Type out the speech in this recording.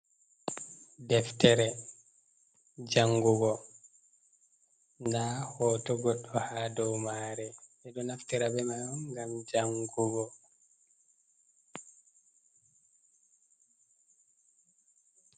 Deftere jangugo, nda hotu goɗɗo ha dow mare, ɓedo naftirabe mai on ngam jangugo.